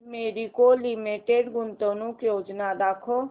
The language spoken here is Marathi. मॅरिको लिमिटेड गुंतवणूक योजना दाखव